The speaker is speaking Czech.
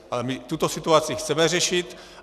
Ale my tuto situaci chceme řešit.